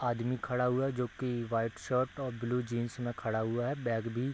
आदमी खड़ा हुआ है जो की वाइट शर्ट और ब्लू जीन्स में खड़ा हुआ है | बैग भी --